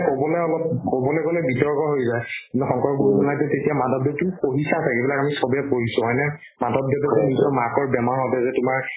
ক'বলে অলপ ক'বলে গ'লে বিতৰ্ক হৈ যায় ন শংকৰগুৰু জনাকতো তেতিয়া মাধবদেৱ তুমি পঢ়িছা ছাগে এইবিলাক আমি চবে পঢ়িছো হয়নে মাধবদেৱকে নিজৰ মাকৰ বেমাৰ হওতে যে তোমাৰ